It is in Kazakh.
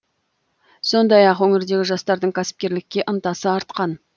сондай ақ өңірдегі жастардың кәсіпкерлікке ынтасы артқан